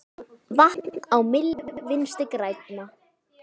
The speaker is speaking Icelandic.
Vatn á myllu Vinstri grænna?